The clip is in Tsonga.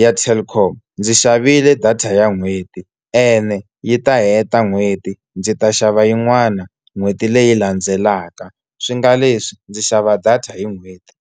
ya Telkom ndzi xavile data ya n'hweti ene yi ta heta n'hweti ndzi ta xava yin'wana n'hweti leyi landzelaka swi nga leswi ndzi xava data hi n'hweti.